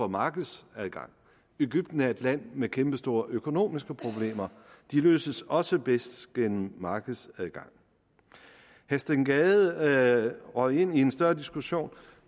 markedsadgang egypten er et land med kæmpestore økonomiske problemer de løses også bedst gennem markedsadgang herre steen gade røg ind i en større diskussion